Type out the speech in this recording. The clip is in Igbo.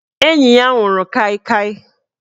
Enyi ya nwụrụ Kai Kai